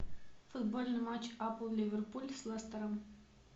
футбольный матч апл ливерпуль с лестером